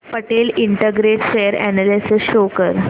Patel integrate share analysis show कर